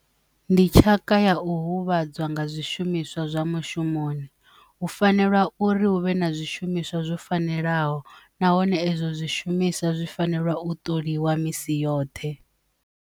Ndi tshaka ya u huvhadza nga zwishumiswa zwa mushumoni hu fanela uri hu vhe na zwishumiswa zwo fanelaho nahone ezwo zwishumiswa zwi fanela u ṱoliwa misi yoṱhe.